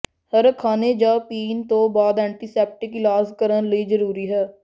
ਹਰ ਖਾਣੇ ਜਾਂ ਪੀਣ ਤੋਂ ਬਾਅਦ ਐਂਟੀਸੈਪਟਿਕ ਇਲਾਜ ਕਰਨ ਲਈ ਜ਼ਰੂਰੀ ਹੈ